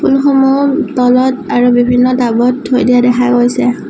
ফুলসমূহ তলত আৰু বিভিন্ন টাবত থৈ দিয়া দেখা গৈছে।